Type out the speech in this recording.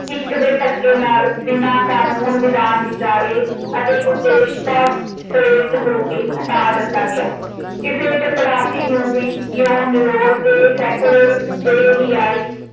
ਹਿੱਕ ਦੇ ਧੱਕੇ ਨਾਲ ਬਿਨਾਂ ਕਾਨੂੰਨ ਵਿਧਾਨ ਵਿਚਾਰੇ ਅਤੇ ਕੁਚੇਸ਼ਟਾ ਪ੍ਰੇਰਿਤ ਹੋ ਕੇ ਹਟਾ ਦਿੱਤਾ ਗਿਆ। ਕਿਸੇ ਚਪੜਾਸੀ ਨੂੰ ਵੀ ਇਉਂ ਨਿਰੋਲ ਤੇ ਸੈਕੁਲਰ ਬੇਹਯਾਈ